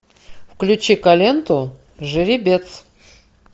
включи ка ленту жеребец